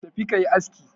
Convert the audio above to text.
Ka tafi ka yi aski!